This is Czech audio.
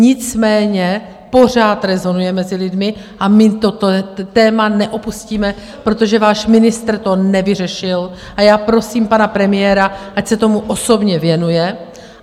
Nicméně pořád rezonuje mezi lidmi a my toto téma neopustíme, protože váš ministr to nevyřešil, a já prosím pana premiéra, ať se tomu osobně věnuje.